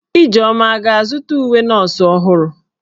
Ijeoma a ga-azụta uwe nọọsụ ọhụrụ?